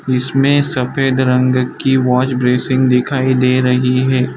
इसमें सफेद रंग की वॉज ब्रेसिंग दिखाई दे रही है।